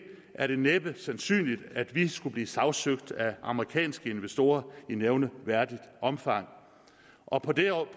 er det næppe sandsynligt at vi skulle blive sagsøgt af amerikanske investorer i nævneværdigt omfang og på det